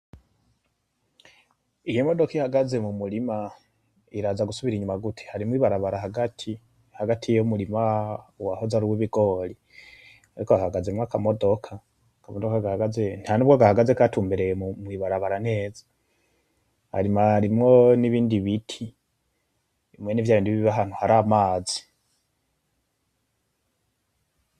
Iyi modoka ihagaze mu murima, iraza gusubira inyuma gute? Harimwo ibarabara hagati, hagati y'umurima wahoze aruw' ibigori ariko hahagazemwo akamodoka, akamodoka gahagaze ntanubwo gahagaze gatumbereye mw' ibarabara neza, hanyuma harimwo n'ibindi biti mwene vyabindi biba ahantu hari amazi.